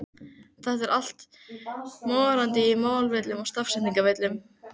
Þetta er allt morandi í málvillum og stafsetningarvillum!